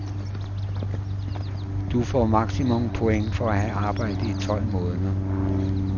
Du får maksimumpoint for at have arbejdet i tolv måneder.